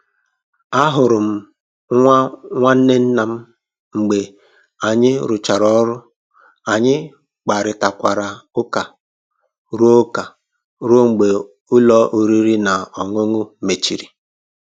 A hụrụ m nwa nwanne nna m mgbe anyị rụchara ọrụ, anyị kparịtakwara ụka ruo ụka ruo mgbe ụlọ oriri na ọṅụṅụ mechiri